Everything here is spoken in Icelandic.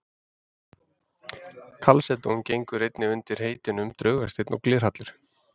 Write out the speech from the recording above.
Kalsedón gengur einnig undir heitunum draugasteinn og glerhallur.